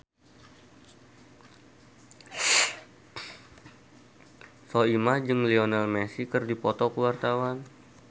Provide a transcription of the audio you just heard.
Soimah jeung Lionel Messi keur dipoto ku wartawan